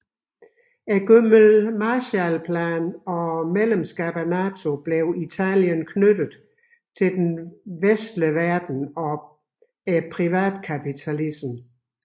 Gennem Marshallplanen og medlemskabet af NATO blev Italien knyttet til den vestlige verden og privatkapitalismen